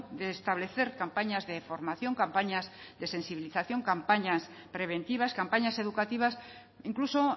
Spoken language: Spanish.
de establecer campañas de formación campañas de sensibilización campañas preventivas campañas educativas incluso